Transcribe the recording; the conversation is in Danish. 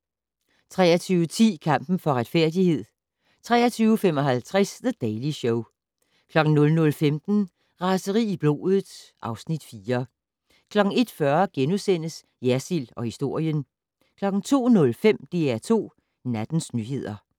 23:10: Kampen for retfærdighed 23:55: The Daily Show 00:15: Raseri i blodet (Afs. 4) 01:40: Jersild & historien * 02:05: DR2 Nattens nyheder